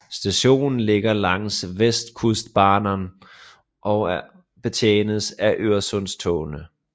Stationen ligger langs västkustbanan og betjenes af Øresundstogene